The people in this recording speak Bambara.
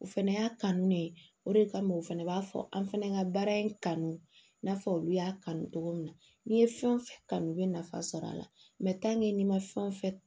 U fɛnɛ y'a kanu ne o de kama u fana b'a fɔ an fɛnɛ ka baara in kanu i n'a fɔ olu y'a kanu cogo min na n'i ye fɛn o fɛn kanu u bɛ nafa sɔrɔ a la n'i ma fɛn o fɛn